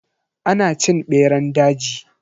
Ana cin beran daji.